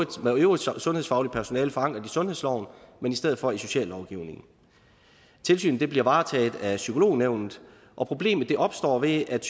med øvrigt sundhedsfagligt personale forankret i sundhedsloven men i stedet for i sociallovgivningen tilsynet bliver varetaget af psykolognævnet og problemet opstår ved at